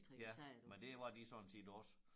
Ja men det var de sådan set også